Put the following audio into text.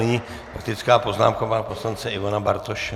Nyní faktická poznámka pana poslance Ivana Bartoše.